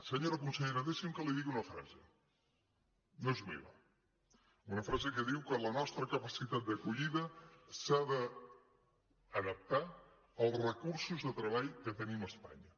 senyora consellera deixi’m que li digui una frase no és meva una frase que diu que la nostra capacitat d’acollida s’ha d’adaptar als recursos de treball que tenim a espanya